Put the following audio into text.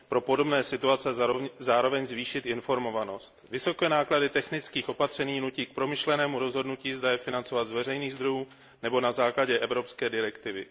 pro podobné situace zároveň zvýšit informovanost. Vysoké náklady technických opatření zároveň nutí k promyšlenému rozhodnutí, zda je financovat z veřejných zdrojů nebo na základě evropské direktivy.